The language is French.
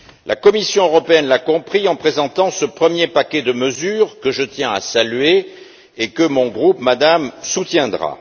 La Commission européenne l'a compris en présentant ce premier paquet de mesures, que je tiens à saluer, et que mon groupe, Madame, soutiendra.